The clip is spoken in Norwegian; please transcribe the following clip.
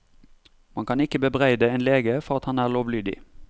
Man kan ikke bebreide en lege for at han er lovlydig.